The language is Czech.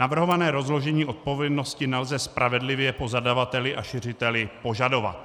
Navrhované rozložení odpovědnosti nelze spravedlivě po zadavateli a šiřiteli požadovat.